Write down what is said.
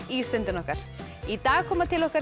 í Stundina okkar í dag koma til okkar